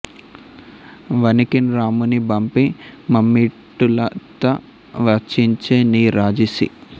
వనికిన్ రాముని బంపి మమ్మిటుల తా వంచించె నీ రాజి సీ